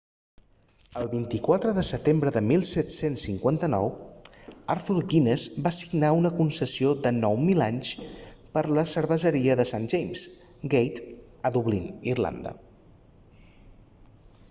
el 24 de setembre de 1759 arthur guinness va signar una concessió de 9.000 anys per la cerveseria de st james' gate a dublín irlanda